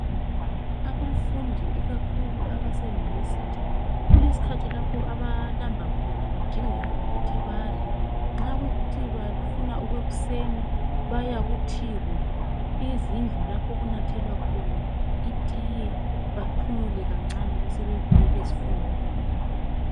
Abafundi ikakhulu abase university kule sikhathi lapho abalamba khona kudingeke ukuthi badle. Nxa kuyikuthi bafuna okwekuseni bayaku tea room. Izindlu lapho okunathelwa khona itiye baphumule kancane besebebuyela ezifundweni.